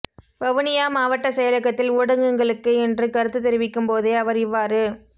வவுனியா மாவட்ட செயலகத்தில் ஊடகங்களுக்கு இன்று கருத்து தெரிவிக்கும் போதே அவர் இவ்வாறு